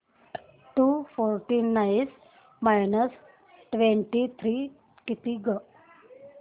to forty nine minus twenty three किती गं